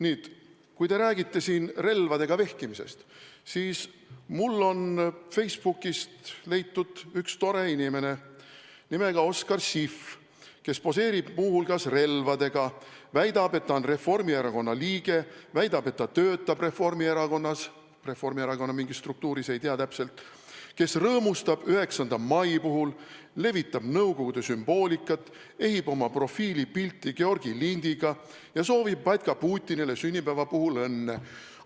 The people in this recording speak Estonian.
Nüüd, kui te räägite siin relvadega vehkimisest, siis mul on Facebookist leitud üks tore inimene nimega Oskar Siff, kes poseerib muu hulgas relvadega, väidab, et ta on Reformierakonna liige, väidab, et ta töötab Reformierakonna mingis struktuuris – ma täpsemalt ei tea –, kes rõõmustab 9. mai puhul, levitab Nõukogude sümboolikat, ehib oma profiilipilti Georgi lindiga ja soovib batka Putinile sünnipäeva puhul õnne.